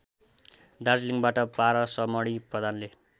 दार्जिलिङबाट पारसमणि प्रधानले